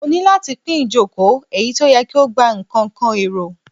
Mo ni lati pin ijoko eyi ti o yẹ ki o gba nikan kan ero